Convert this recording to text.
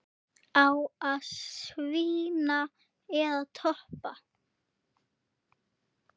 Hvað segir þú við þeim?